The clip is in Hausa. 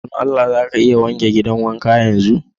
Don Allah za ka iya wanke gidan wankan yanzu?